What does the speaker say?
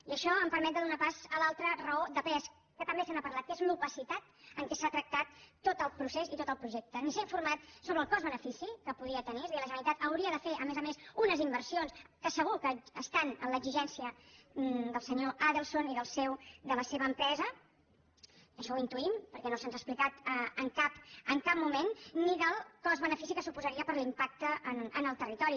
i això em permet de donar pas a l’altra raó de pes que també se n’ha parlat que és l’opacitat amb què s’ha tractat tot el procés i tot el projecte ni s’ha informat sobre el cost benefici que podria tenir és a dir la generalitat hauria de fer a més a més unes inversions que segur que estan en l’exigència del senyor adelson i de la seva empresa això ho intuïm perquè no se’ns ha explicat en cap moment ni del cost benefici que suposaria per l’impacte en el territori